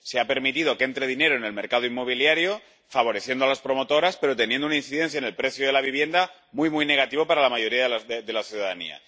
Se ha permitido que entre dinero en el mercado inmobiliario, favoreciendo a las promotoras, pero con una incidencia en el precio de la vivienda muy, muy negativo para la mayoría de la ciudadanía.